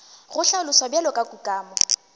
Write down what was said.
go hlaloswa bjalo ka kukamo